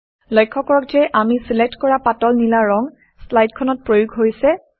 লক্ষ্য কৰক যে আমি চিলেক্ট কৰা পাতল নীলা ৰং শ্লাইডখনত প্ৰয়োগ হৈছে